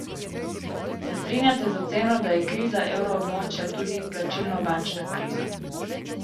Se strinjate z oceno, da je kriza evroobmočja tudi plačilnobilančna kriza?